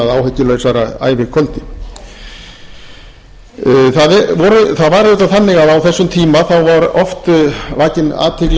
að áhyggjulausara ævikvöldi það var auðvitað þannig að á þessum tíma var oft vakin athygli á því að